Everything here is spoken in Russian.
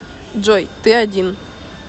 джой ты один